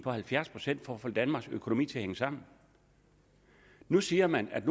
på halvfjerds procent for at få danmarks økonomi til at hænge sammen nu siger man at